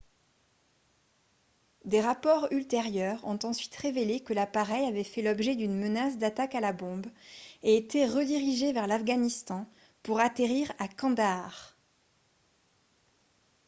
des rapports ultérieurs ont ensuite révélé que l'appareil avait fait l'objet d'une menace d'attaque à la bombe et été redirigé vers l'afghanistan pour atterrir à kandahar